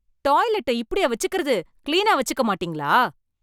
Toilet இப்படியா வச்சுக்கிறது, கிளீனா வச்சுக்க மாட்டீங்களா?